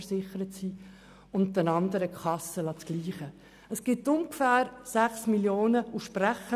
Wir sparen mit der Massnahme ungefähr 6 Mio. Franken.